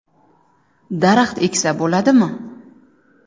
Daraxt eksa bo‘ladimi?